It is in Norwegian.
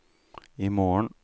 imorgen